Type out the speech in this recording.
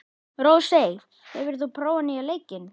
Rósey, hefur þú prófað nýja leikinn?